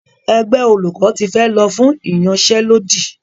Ẹgbẹ́ olùkọ́ ti fẹ́ lọ fún ìyanṣẹ́lódì.